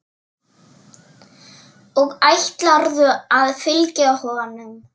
Og ætlarðu að fylgja honum?